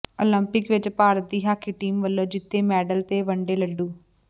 Olympic ਵਿੱਚ ਭਾਰਤ ਦੀ hockey team ਵੱਲੋਂ ਜਿੱਤੇ ਮੈਡਲ ਤੇ ਵੰਡੇ ਲੱਡੂ